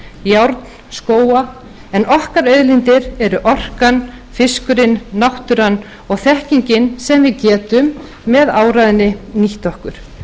járn skóga en okkar auðlindir eru orkan fiskurinn náttúran og þekkingin sem við getum með áræðni nýtt okkur